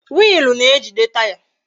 Wiilu na-ejide Taya